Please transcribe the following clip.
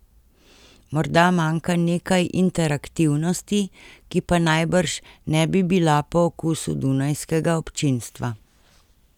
Morda manjka nekaj interaktivnosti, ki pa najbrž ne bi bila po okusu dunajskega občinstva.